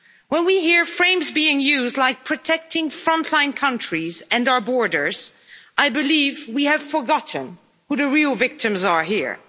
When we hear phrases being used like protecting frontline countries and our borders', I believe we have forgotten who the real victims are here.